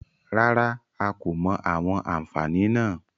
Rárá, a kò mọ àwọn àfààní náà.